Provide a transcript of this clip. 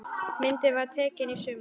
Myndin var tekin í sumar.